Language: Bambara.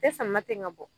E sama ten ka bɔ